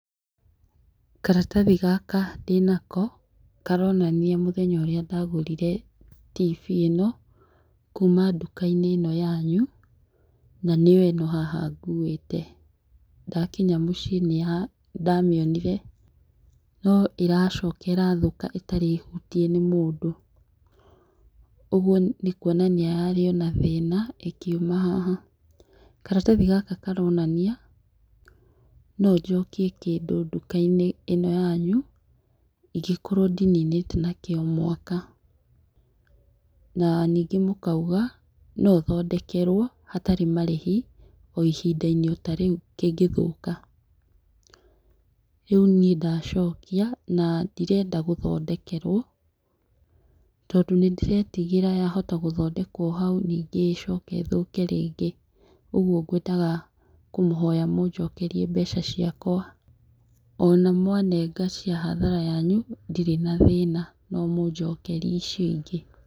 Karatathi gaka ndinako, karonania mũthenya ũrĩa ndagũrire tivii ĩno, kuma nduka - inĩ ĩno yanyu, na nĩyo ĩno haha nguĩte, ndakinya mũciĩ nĩ ndamĩonire no ĩracoka ĩrathũka ĩtarĩ hutie nĩ mũndũ, ũguo nĩ kwonania yarĩ o nathĩna ĩkiuma haha, karatathi gaka karonania no jokie kĩndũ nduka -inĩ ino yanyu, ingĩkorwo ndininĩte nakĩo mwaka, na ningĩ mũkaiga, no thondekerwo hatarĩ marĩhi o ihinda - inĩ tarĩu kĩngĩthoka, rĩu niĩ ndacokia na ndirenda gũthondekerwo, tondũ nĩ ndĩretigĩra ya hota gũthondekwo hau ningĩ ĩcoke ĩthũke rĩngĩ, ũguo ngwendaga kũmũhoya mũjokerie mbeca ciakwa, ona mwanenga cĩa hathara yanyu, ndírĩ na thĩna no mũjokerie icio ingĩ.